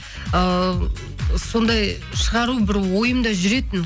ыыы сондай шығару бір ойымда жүретін